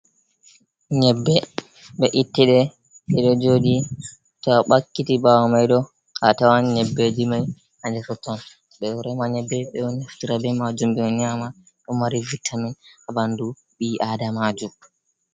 Nyebbe be ittiɗe ɗeɗo joɗi. To abakkiti bawo mai ɗo a tawan nyebbeji mai haɗer totton. beɗo rema nyebbe bo neftira be majum beɗo nyama. Ɗo mari vittamin ha banɗu bi aɗamajum.